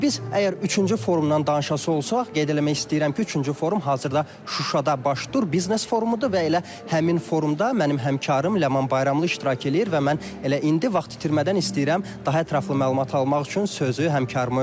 Biz əgər üçüncü forumdan danışası olsaq, qeyd eləmək istəyirəm ki, üçüncü forum hazırda Şuşada baş tutan biznes forumudur və elə həmin forumda mənim həmkarım Ləman Bayramlı iştirak eləyir və mən elə indi vaxt itirmədən istəyirəm daha ətraflı məlumat almaq üçün sözü həmkarıma ötürüm.